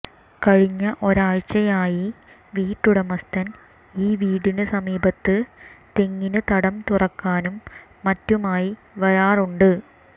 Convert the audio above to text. കഴിഞ്ഞ ഒരാഴ്ചയായി വീട്ടുടമസ്ഥൻ ഈ വീടിന് സമീപത്ത് തെങ്ങിന് തടം തുറക്കാനും മറ്റുമായി വരാറുണ്ട്